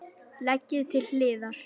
Leggið til hliðar.